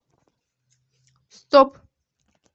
стоп